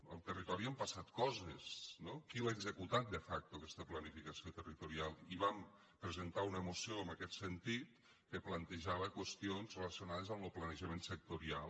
al territori han passat coses no qui l’ha executat de facto aquesta planificació territorial i vam presentar una moció en aquest sentit que plantejava qüestions relacionades amb lo planejament sectorial